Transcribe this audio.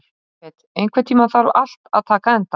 Jafet, einhvern tímann þarf allt að taka enda.